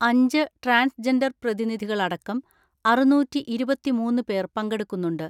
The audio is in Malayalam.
അഞ്ച് ട്രാൻസ്ജെൻഡർ പ്രതിനിധികളടക്കം ആറുന്നൂറ്റിഇരുപത്തിമൂന്ന് പേർ പങ്കെടുക്കുന്നുണ്ട്.